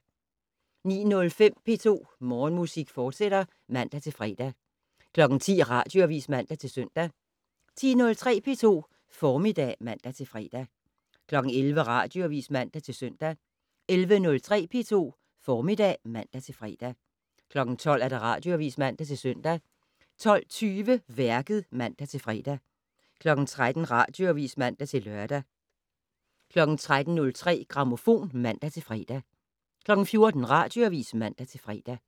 09:05: P2 Morgenmusik, fortsat (man-fre) 10:00: Radioavis (man-søn) 10:03: P2 Formiddag (man-fre) 11:00: Radioavis (man-søn) 11:03: P2 Formiddag (man-fre) 12:00: Radioavis (man-søn) 12:20: Værket (man-fre) 13:00: Radioavis (man-lør) 13:03: Grammofon (man-fre) 14:00: Radioavis (man-fre)